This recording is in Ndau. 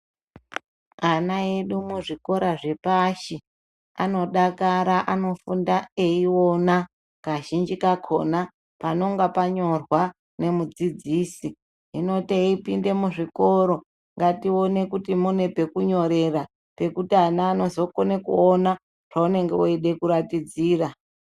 Ana edu muzvikora zvepashi anodakara anofunda eiona kazhinji kakona panonga panyorwa nemudzidzisi hino teipinde muzvikoro ngatione kuti mune pekunyorerapekuti ana anozokone kuona paunenge weida kuratidzira.